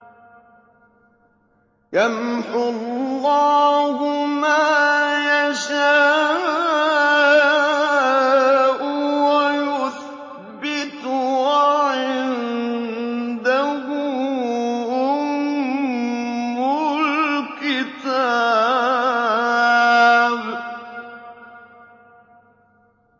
يَمْحُو اللَّهُ مَا يَشَاءُ وَيُثْبِتُ ۖ وَعِندَهُ أُمُّ الْكِتَابِ